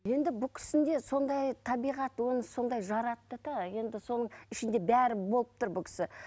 енді бұл сондай табиғат оны сондай жаратты да енді соның ішінде бәрі болып тұр бұл кісі